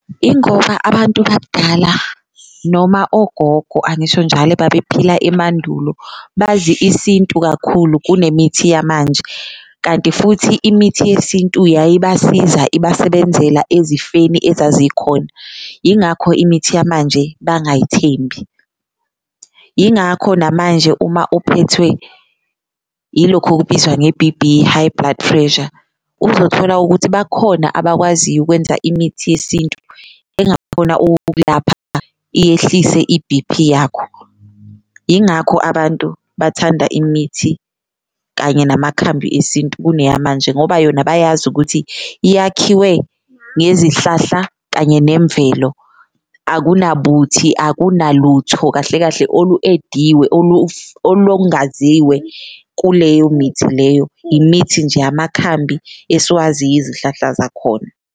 Ingoba abantu bakudala noma ogogo angisho njalo ebabephila emandulo bazi isintu kakhulu kunemithi yamanje, kanti futhi imithi yesintu yayibasiza ibasebenzela ezifeni ezazikhona, ingakho imithi yamanje bangayithembi. Ingakho namanje uma uphethwe ilokhu okubizwa nge-B_P high blood pressure, uzothola ukuthi bakhona abakwaziyo ukwenza imithi yesintu engakhona ukukulapha iyehlise i-B_P yakho, ingakho abantu bathanda imithi kanye namakhambi esintu kuneyamanje. Ngoba yona bayazi ukuthi iyakhiwe ngezihlahla kanye nemvelo akunabuthi, akunalutho kahle kahle olu-ediwe olongaziwe kuleyo mithi leyo, imithi nje amakhambi esiwaziyo izihlahla zakhona.